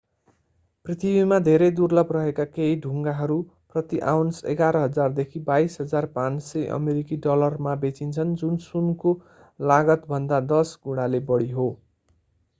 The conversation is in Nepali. पृथ्वीमा धेरै दुर्लभ रहेका केही ढुङ्गाहरू प्रति आउन्स 11,000 देखि 22,500 अमेरिकी डलरमा बेचिन्छन् जुन सुनको लागतभन्दा दश गुणाले बढी हो